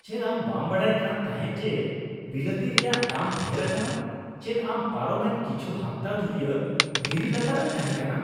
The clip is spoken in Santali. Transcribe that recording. ᱪᱮᱫ ᱟᱢ ᱵᱟᱢ ᱵᱟᱲᱟᱭ ᱠᱟᱱ ᱛᱟᱦᱮᱸᱜ ᱡᱮ ᱵᱤᱞᱟᱹᱛᱤ ᱨᱮᱭᱟᱜ ᱫᱟᱢ ᱰᱷᱮᱨ ᱟᱠᱟᱱᱟ ? ᱪᱮᱫ ᱟᱢ ᱯᱟᱨᱚᱢᱮᱱ ᱠᱤᱪᱷᱩ ᱦᱟᱯᱛᱟ ᱫᱷᱩᱨᱤᱭᱟᱹ ᱫᱷᱤᱨᱤ ᱞᱟᱛᱟᱨ ᱨᱮᱢ ᱛᱟᱦᱮᱸᱠᱟᱱᱟ ᱾